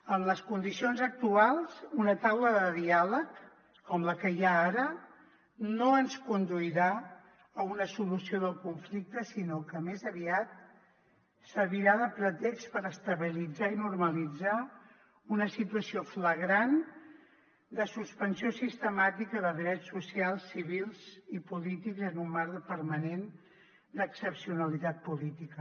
en les condicions actuals una taula de diàleg com la que hi ha ara no ens conduirà a una solució del conflicte sinó que més aviat servirà de pretext per estabilitzar i normalitzar una situació flagrant de suspensió sistemàtica de drets socials civils i polítics en un marc permanent d’excepcionalitat política